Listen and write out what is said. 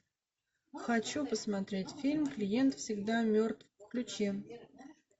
хочу посмотреть фильм клиент всегда мертв включи